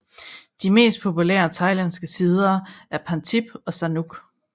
De mest populære thailandske sider er Pantip og Sanook